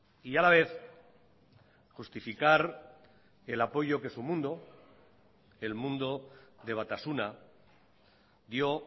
y a la vez justificar el apoyo que su mundo el mundo de batasuna dio